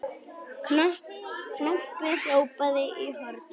Kobbi hrópaði í hornið.